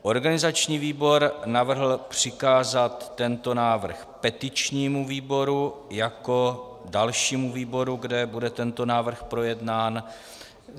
Organizační výbor navrhl přikázat tento návrh petičnímu výboru jako dalšímu výboru, kde bude tento návrh projednán.